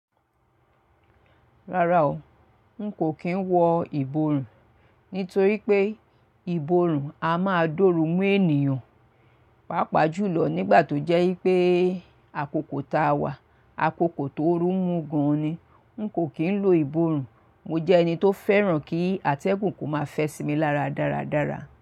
Rárá o, nkò kí ń wọ ìborùn, nítorí pé ìborùn a máa d'óru mú ènìyàn. Pàápàá jùlọ nígbà tó jẹ́ ípé àkokò táa wà, àkokò tóoru mú gan-an ni. Nkò kí ń lo ìborùn. Mo jẹ́ ẹni tó fẹ́ràn kí àtẹ̀gùn kó máa fẹ́ sí mi lára dáradára.